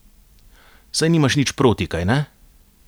Saj nimaš nič proti, kajne?